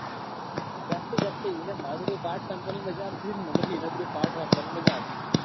જાતે જાતે એના મારા જોડે પાઠ વાંચવાની મજા આવતી. અને મને બી એના જોડે પાઠ વાંચવાની મજા આવતી.